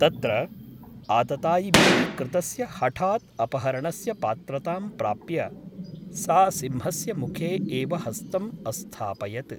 तत्र आततायिभिः कृतस्य हठात् अपहरणस्य पात्रतां प्राप्य सा सिंहस्य मुखे एव हस्तम् अस्थापयत् ।